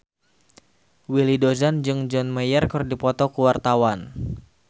Willy Dozan jeung John Mayer keur dipoto ku wartawan